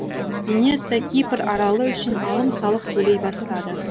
венеция кипр аралы үшін алым салық төлей бастады